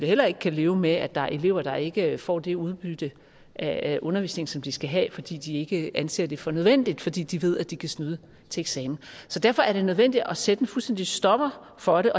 heller ikke kan leve med at der er elever der ikke får det udbytte af undervisningen som de skal have fordi de ikke anser det for nødvendigt fordi de ved at de kan snyde til eksamen derfor er det nødvendigt at sætte en fuldstændig stopper for det